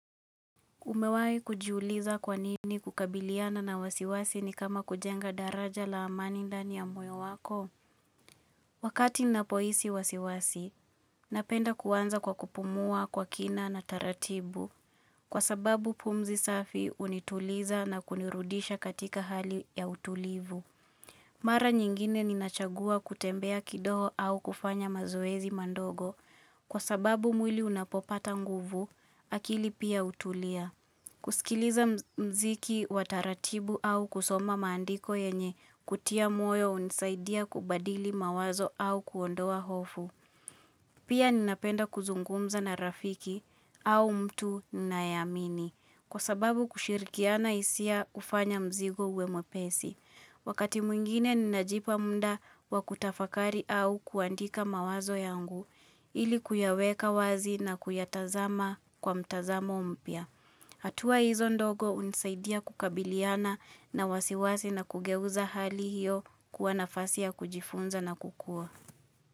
Umewahi kujiuliza kwa nini kukabiliana na wasiwasi ni kama kujenga daraja la amani ndani ya moyo wako. Wakati ninapohisi wasiwasi, napenda kuanza kwa kupumua kwa kina na taratibu. Kwa sababu pumzi safi hunituliza na kunirudisha katika hali ya utulivu. Mara nyingine ninachagua kutembea kidogo au kufanya mazoezi mandogo. Kwa sababu mwili unapopata nguvu, akili pia hutulia. Kusikiliza mziki wa taratibu au kusoma maandiko yenye kutia moyo hunisaidia kubadili mawazo au kuondoa hofu. Pia ninapenda kuzungumza na rafiki au mtu ninayeamini kwa sababu kushirikiana hisia hufanya mzigo uwe mwepesi. Wakati mwingine ninajipa muda wakutafakari au kuandika mawazo yangu ilikuyaweka wazi na kuyatazama kwa mtazamo mpya. Hatua hizo ndogo hunisaidia kukabiliana na wasiwasi na kugeuza hali hiyo kuwa nafasi ya kujifunza na kukua.